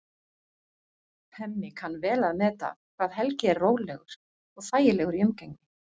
Hemmi kann vel að meta hvað Helgi er rólegur og þægilegur í umgengni.